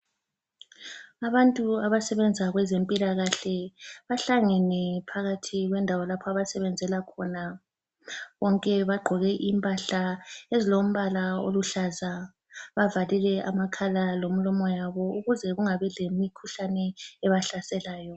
Abantu abasebenza kwezempilakahle bahlangene phakathi kwendawo lapho abasebenzela khona. Bonke bagqoke impahla ezilombala oluhlaza. Bavalile amakhala lemilomo yabo ukuze kungabi lemikhuhlane ebahlaselayo.